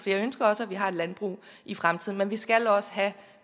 ønsker også at vi har et landbrug i fremtiden men vi skal også have